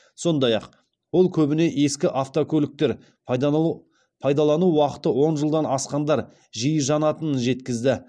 сондай ақ ол көбіне ескі автокөліктер пайдалану уақыты он жылдан асқандар жиі жанатынын жеткізді